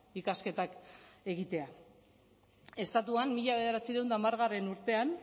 ikasketak egitea estatuan mila bederatziehun eta hamargarrena